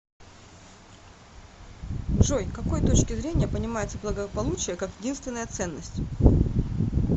джой к какой точки зрения понимается благополучие как единственная ценность